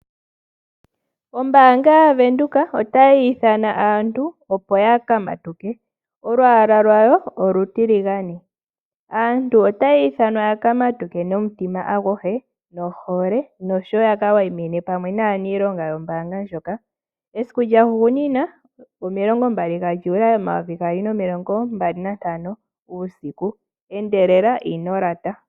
Ombaanga yaVenduka otayi ithana aantu opo ya ka matuke. Olwaala lwayo olutiligane. Aantu otaya ithanwa ya ka matuke nomutima aguhe, nohole, nosho wo ya ka wayimine pamwe naaniilonga yombaanga ndjoka. Esiku lyahugunina, omilongo mbali gaJuli, omayovi gaali nomilongo mbali nantano, uusiku. Endelela, ino lata.